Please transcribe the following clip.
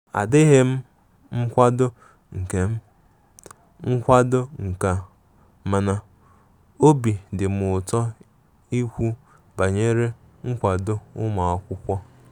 Adighi m nkwado nke m nkwado nke a,mana obi dim ụtọ ikwu banyere nkwado ụmụakwụkwọ.